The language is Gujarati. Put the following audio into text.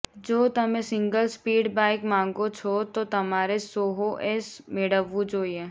જો તમે સિંગલ સ્પીડ બાઈક માંગો છો તો તમારે સોહો એસ મેળવવું જોઈએ